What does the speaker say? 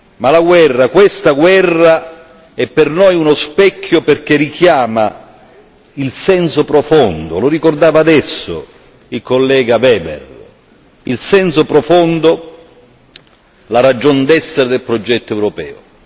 Ma la guerra, questa guerra è per noi uno specchio perché richiama il senso profondo lo ricordava adesso il collega Weber il senso profondo, la ragion d'essere del progetto europeo.